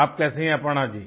आप कैसी है अपर्णा जी